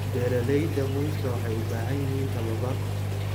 Beeralayda muuska waxay u baahan yihiin tababar.